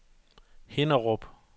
Hinnerup